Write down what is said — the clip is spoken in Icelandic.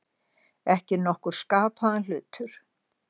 Ekki nokkur skapaður hlutur.